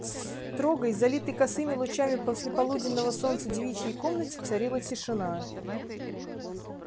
в строгой залитой косыми лучами послеполуденного солнца девичьей комнате царила тишина